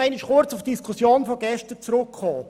Ich komme kurz auf die Diskussion von gestern zurück.